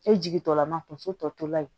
E jigi dɔ lama tonso tɔ tola yen